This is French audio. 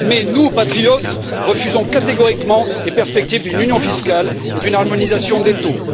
Mais nous, patriotes, refusons catégoriquement les perspectives d'une union fiscale et d'une harmonisation des taux.